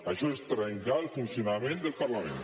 això és trencar el funcionament del parlament